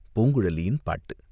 பூங்குழலியின் பாட்டு!